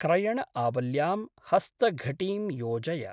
क्रयणआवल्यां हस्तघटीं योजय।